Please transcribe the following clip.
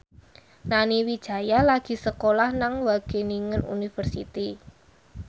Nani Wijaya lagi sekolah nang Wageningen University